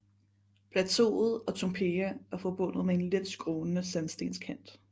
Plateauet og Toompea er forbundet med en let skrånende sandstenskanten